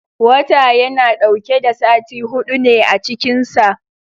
Wata yana dauke da sati hudu ne a cikin sa